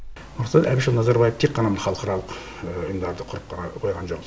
нұрсұлтан әбішұлы назарбаев тек қана халықаралық ұйымдарды құрып қана қойған жоқ